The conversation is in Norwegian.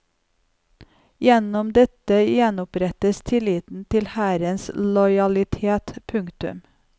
Gjennom dette gjenopprettes tilliten til hærens lojalitet. punktum